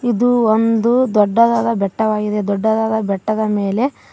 ಇದು ಒಂದು ದೊಡ್ಡದಾದ ಬೆಟ್ಟ ವಾಗಿದೆ ದೊಡ್ಡದಾದ ಬೆಟ್ಟದ ಮೇಲೆ--